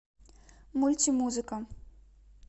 мультимузыка